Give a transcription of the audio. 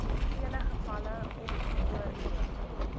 vele gevalle ongeoorloof